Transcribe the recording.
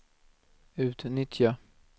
utnyttja